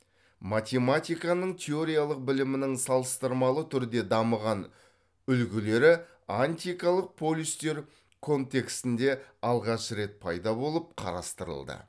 математиканың теориялық білімінің салыстырмалы түрде дамыған үлгілері антикалық полистер контекстінде алғаш рет пайда болып қарастырылды